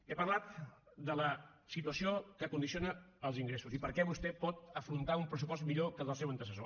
he parlat de la situació que condiciona els ingressos i per què vostè pot afrontar un pressupost millor que el del seu antecessor